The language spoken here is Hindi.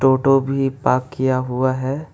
ऑटो भी पार्क किया हुआ है।